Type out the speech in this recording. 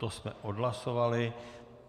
To jsme odhlasovali.